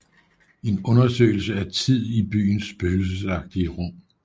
En undersøgelse af tid i byens spøgelsesagtige rum